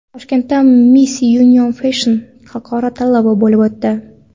Toshkentda Miss Union Fashion xalqaro tanlovi bo‘lib o‘tdi .